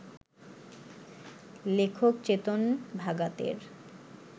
লেখক চেতন ভাগাতের